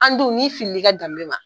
An dun nin filili i ka danbe ma.